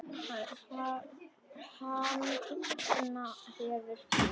Hann opna hefur búð.